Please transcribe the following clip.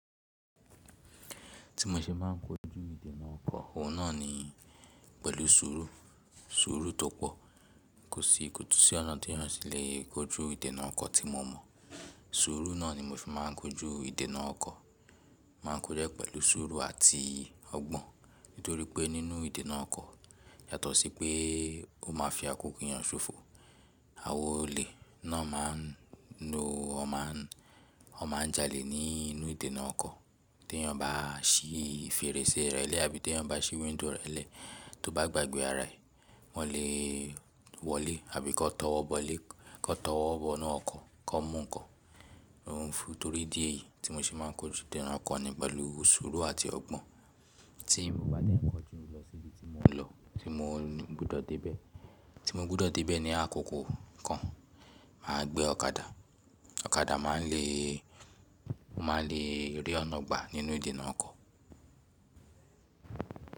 Tí mo ṣe máa ń kojú ìdènà ọkọ̀, òun náà ni pẹ̀lú sùúrù, sùúrù tó pọ̀ kò sí, kò tún sí ọ̀nà te eyan tílẹ̀ kojú ìdènà ọkọ̀ tí mo mọ̀. Sùúrù náà ni mo fi máa ń kojú ìdènà ọkọ̀, máa ń kojú ẹ́ pẹ̀lú sùúrù àti ọgbọ́n nítorí pé nínú ìdènà ọkọ̀ yàtọ̀ sí pé ó máa fi àkókò eyàn ṣòfò. Awọn olè náà máa ń nu, ó máa ń, ó máa ń jalè nínú ìdènà ọkọ̀ tí ẹeyan bá sí fèrèsé rẹ̀ lẹ́ àbí ti eeyan bá sí wíńdòw rẹ̀ lẹ́ tó bá gbàgbé ara ẹ̀, wọ́n lè wọlé àbí kó tọwọ́ bọ́lé, kó tọwọ́ bọ́ inu ọkọ̀ kó mú nǹkan. Òhun ò fún torí dí èyí tí mo ṣe máa ń kojú ìdènà ọkọ̀ ni pẹ̀lú sùúrù àti ọgbọ́n tí mo bá dẹ̀ ń kọjú lọ sí ibi tí mo ń lọ tí mo gbọdọ̀ dé bẹ́ẹ̀. Tí mo gbọdọ̀ dé bẹ́ẹ̀ ní àkókò kan, mà á gbé ọ̀kadà. Ọ̀kadà máa ń le, ó máa ń le rí ọ̀nà gbà nínú ìdènà ọkọ̀